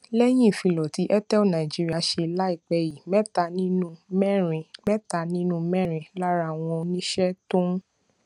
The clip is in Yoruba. lẹyìn ìfilọ tí airtel nigeria ṣe láìpé yìí mẹta nínú mẹrin mẹta nínú mẹrin lára àwọn oníṣẹ tó ń